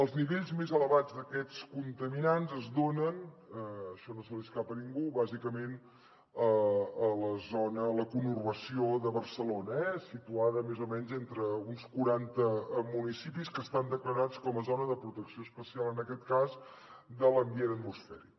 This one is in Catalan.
els nivells més elevats d’aquests contaminants es donen això no se li escapa a ningú bàsicament a la conurbació de barcelona situada més o menys entre uns quaranta municipis que estan declarats com a zona de protecció especial en aquest cas de l’ambient atmosfèric